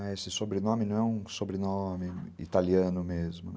Esse sobrenome não é um sobrenome italiano mesmo.